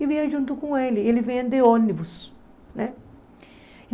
E vinha junto com ele, ele vinha de ônibus né.